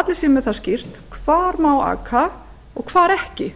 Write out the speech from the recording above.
allir séu með það skýrt hvar má aka og hvar ekki